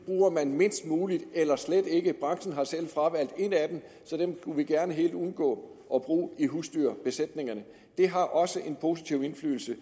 bruger man mindst muligt eller slet ikke branchen har selv fravalgt et af dem så dem skulle vi gerne helt undgå at bruge i husdyrbesætningerne det har også en positiv indflydelse